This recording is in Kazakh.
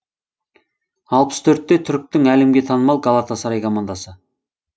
алпыс төртте түріктің әлемге танымал галатасарай командасы